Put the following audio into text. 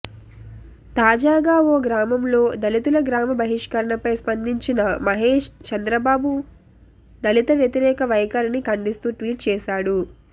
తాజాగా ఓ గ్రామంలో దళితుల గ్రామ బహిష్కరణపై స్పందించిన మహేష్ చంద్రబాబు దళిత వ్యతిరేక వైఖరిని ఖండిస్తూ ట్వీట్ చేసాడు